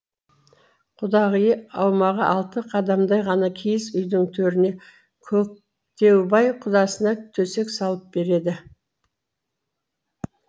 құдағиы аумағы алты қадамдай ғана киіз үйдің төріне көктеубай құдасына төсек салып береді